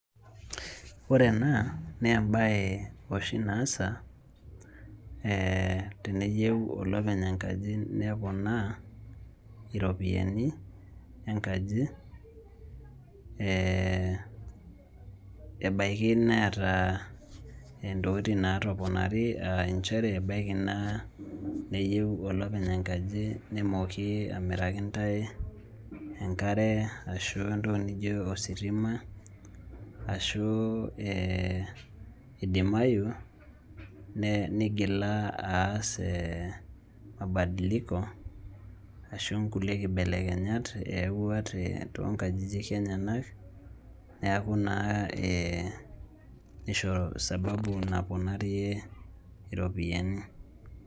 Ore ena naa embaye oshi naasa teneyieu olopeny' enkaji neponaa iropiyiani enkaji ee ebaiki neeta ntokitin naatoponari aa nchere ebaiki neyieu olopeny enkaji nemooki amiraki intae enkare ashu entoki nijio ositima ashu ee idimayu nigila aas ee mabadiliko ashu nkulie kibelekenyat eyaua toonkajijik enyenak neeku naa ee nisho sababu naponarie iropiyiani.